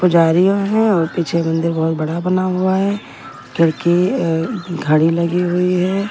को जा रही है और पीछे मंदिर बहुत बड़ा बना हुआ है किड़की खाड़ी लगी हुई है।